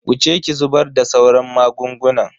Wuce ki zubar da sauran magungunan.